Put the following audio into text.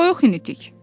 Toyuq ini tik.